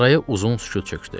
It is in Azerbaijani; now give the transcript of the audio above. Araya uzun sükut çökdü.